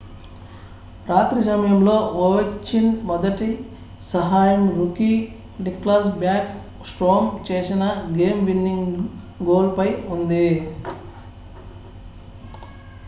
రాత్రి సమయంలో ఒవెచ్కిన్ మొదటి సహాయం రూకీ నిక్లాస్ బ్యాక్ స్ట్రోమ్ చేసిన గేమ్-విన్నింగ్ గోల్ పై ఉంది